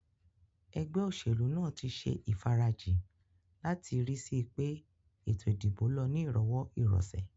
Egbé òsèlú nàá tí se ìfarajì láti ri síi pé ètò ìdìbò lo ni ìrowó ìrosè